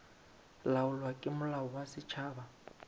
laolwa ke molao wa setšhaba